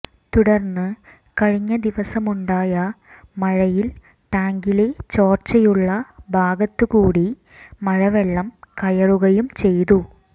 തുടർന്ന് കഴിഞ്ഞദിവസമുണ്ടായ മഴയിൽ ടാങ്കിലെ ചോർച്ചയുള്ള ഭാഗത്ത് കൂടി മഴവെള്ളം കയറുകയും ചെയ്തു